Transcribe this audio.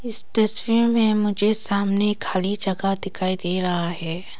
इस तस्वीर में मुझे सामने खाली जगह दिखाई दे रहा है।